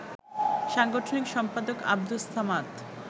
সাংগঠনিক সম্পাদক আব্দুস সামাদ